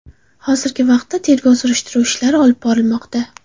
Hozirgi vaqtda tergov-surishtiruv ishlari olib borilmoqda.